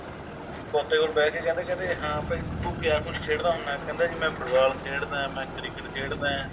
ਪੋਤੇ ਕੋਲ ਬਹਿ ਕੇ ਕਹਿੰਦੇ ਕਹਿੰਦੇ ਹਾਂ ਬਾਈ ਤੂੰ ਕਿਆ ਕੁੱਝ ਖੇਡਦਾ ਹੁੰਦਾ ਕਹਿੰਦਾ ਜੀ ਮੈਂ football ਖੇਡਦਾ ਮੈਂ cricket ਖੇਡਦਾ